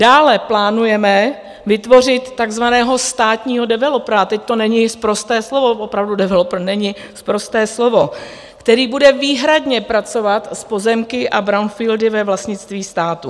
Dále plánujeme vytvořit takzvaného státního developera - teď to není sprosté slovo, opravdu developer není sprosté slovo - který bude výhradně pracovat s pozemky a brownfieldy ve vlastnictví státu.